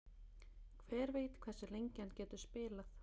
Hver veit hversu lengi hann getur spilað?